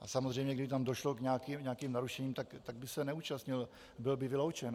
A samozřejmě kdyby tam došlo k nějakým narušením, tak by se neúčastnil, byl by vyloučen.